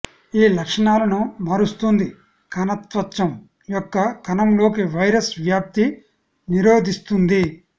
ఈ లక్షణాలను మారుస్తుంది కణత్వచం యొక్క కణంలోకి వైరస్ వ్యాప్తి నిరోధిస్తుంది